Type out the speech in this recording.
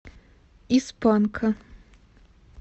из панка